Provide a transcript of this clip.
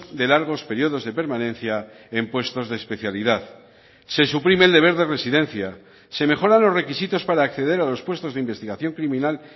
de largos periodos de permanencia en puestos de especialidad se suprime el deber de residencia se mejora los requisitos para acceder a los puestos de investigación criminal